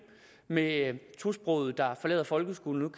med tosprogede der forlader folkeskolen